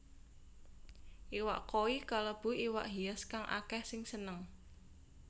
Iwak koi kalebu iwak hias kang akèh sing seneng